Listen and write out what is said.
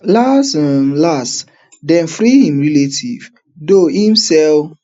las um las dem free im relatives though im sell